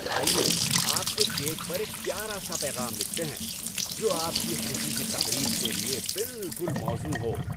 آئیے آپ کے کیک پر ایک پیارا سا پیغام لکھتے ہیں جو آپ کی خوشی کی تقریب کے لیے بالکل موزوں ہو۔